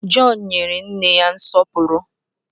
John nyere nne ya nsọpụrụ